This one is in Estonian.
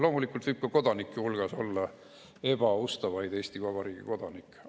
Loomulikult võib ka kodanike hulgas olla ebaustavaid Eesti Vabariigi kodanikke.